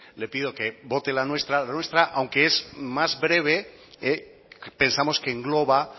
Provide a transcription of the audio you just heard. le pido que vote la nuestra la nuestra aunque es más breve pensamos que engloba